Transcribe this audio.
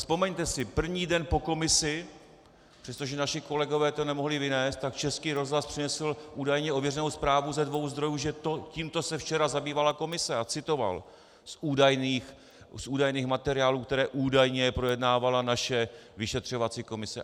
Vzpomeňte si, první den po komisi, přestože naši kolegové to nemohli vynést, tak Český rozhlas přinesl údajně ověřenou zprávu ze dvou zdrojů, že tímto se včera zabývala komise, a citoval z údajných materiálů, které údajně projednávala naše vyšetřovací komise.